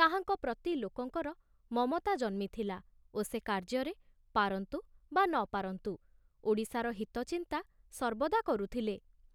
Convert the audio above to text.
ତାହାଙ୍କ ପ୍ରତି ଲୋକଙ୍କର ମମତା ଜନ୍ମିଥିଲା ଓ ସେ କାର୍ଯ୍ୟରେ ପାରନ୍ତୁ ବା ନ ପାରନ୍ତୁ, ଓଡ଼ିଶାର ହିତ ଚିନ୍ତା ସର୍ବଦା କରୁଥିଲେ।